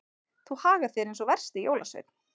Þú hagar þér eins og versti jólasveinn.